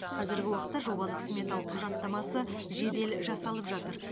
қазіргі уақытта жобалық сметалық құжаттамасы жедел жасалып жатыр